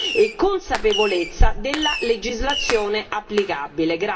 e consapevolezza della legislazione applicabile.